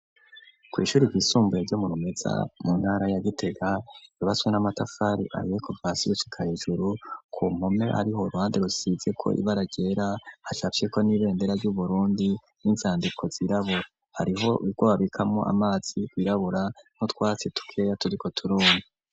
Kw'ishure ry'isumbuye ryo murumeza mu ntara ya gitega bibaswe n'amatafari abekovasibucika ijuru ku nkome ari holwande rusize ko ibaragera hashafye ko n'ibendera by'uburundi n'inzandiko z'irabura hariho igobabikamo amatsi kwirabura nko twatse tukeya turiko turune.